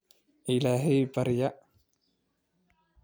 Illahay barya